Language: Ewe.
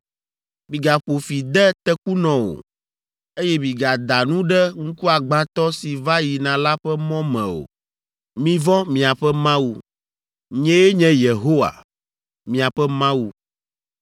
“ ‘Migaƒo fi de tekunɔ o, eye migada nu ɖe ŋkuagbãtɔ si va yina la ƒe mɔ me o. Mivɔ̃ miaƒe Mawu. Nyee nye Yehowa, miaƒe Mawu.